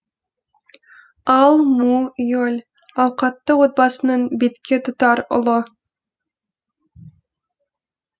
ал му е ль ауқатты отбасының бетке тұтар ұлы